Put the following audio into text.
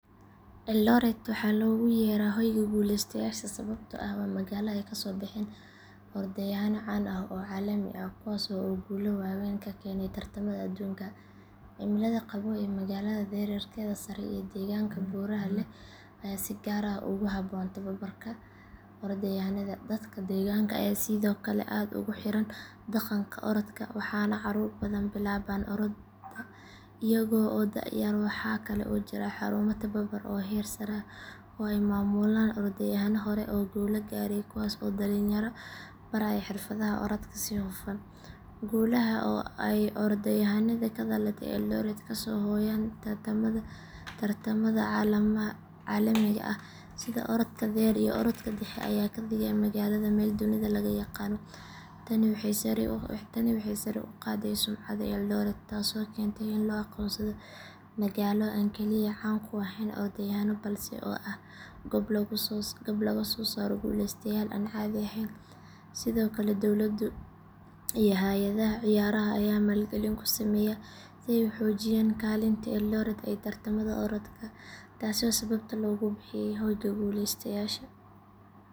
Eldoret waxaa loogu yeeraa hoyga guuleystayaasha sababtoo ah waa magaalo ay kasoo baxeen orodyahanno caan ah oo caalami ah kuwaas oo guulo waaweyn ka keenay tartamada adduunka. Cimilada qabow ee magaalada, dhererkeeda sare iyo deegaanka buuraha leh ayaa si gaar ah ugu habboon tababarka orodyahannada. Dadka deegaanka ayaa sidoo kale aad ugu xiran dhaqanka orodka, waxaana caruur badan bilaabaan orodda iyaga oo da’ yar ah. Waxaa kale oo jira xarumo tababar oo heer sare ah oo ay maamulaan orodyahanno hore oo guulo gaaray kuwaas oo dhalinyarada baraya xirfadaha orodka si hufan. Guulaha ay orodyahannada ka dhalatay Eldoret kasoo hooyaan tartamada caalamiga ah sida orodka dheer iyo orodka dhexe ayaa ka dhigay magaalada meel dunida laga yaqaano. Tani waxay sare u qaaday sumcadda Eldoret taasoo keentay in loo aqoonsado magaalo aan kaliya caan ku ahayn orodyahanno balse ah goob lagu soosaaro guuleystayaal aan caadi ahayn. Sidoo kale, dowladda iyo hay’adaha ciyaaraha ayaa maalgelin ku sameeya si ay u sii xoojiyaan kaalinta Eldoret ee tartamada orodka. Taasi waa sababta loogu bixiyey hoyga guuleystayaasha.